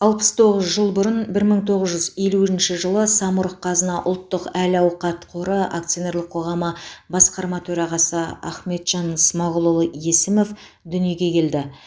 алпыс тоғыз жыл бұрын бір мың тоғыз жүз елуінші жылы самұрық қазына ұлттық әл ауқат қоры акционерлік қоғамы басқарма төрағасы ахметжан смағұлұлы есімов дүниеге келді